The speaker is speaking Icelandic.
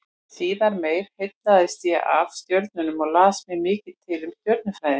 Síðar meir heillaðist ég af stjörnunum og las mér mikið til um stjörnufræði.